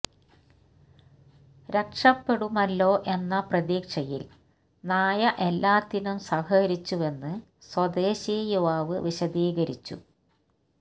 രക്ഷപ്പെടുമല്ലോ എന്ന പ്രതീക്ഷയില് നായ എല്ലാത്തിനും സഹകരിച്ചുവെന്ന് സ്വദേശി യുവാവ് വിശദീകരിച്ചു